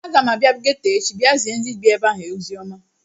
Aga m abịa geto echi bịa zie ndị bie ebe ahụ oziọma